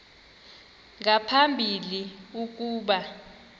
nga phambili ukuba